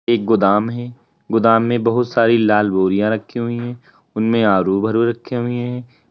एक गोदाम है गोदाम में बहुत सारी लाल बोरियां रखी हुई है उनमें आलू भरे रखे हुए हैं।